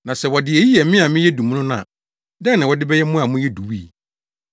Na sɛ wɔde eyi yɛ me a meyɛ dummono no a, dɛn na wɔde bɛyɛ mo a moyɛ duwui?”